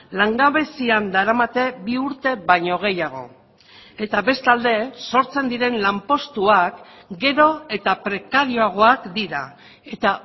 langabezian daramate bi urte baino gehiago eta bestalde sortzen diren lanpostuak gero eta prekarioagoak dira eta